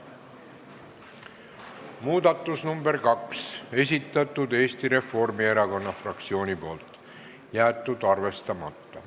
Muudatusettepaneku nr 2 on esitanud Eesti Reformierakonna fraktsioon, jäetud arvestamata.